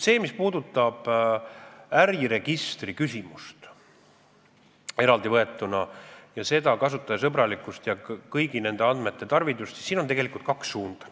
Mis puudutab äriregistri küsimust eraldivõetuna, kasutajasõbralikkust ja kõigi nende andmete tarvidust, siis siin on tegelikult kaks suunda.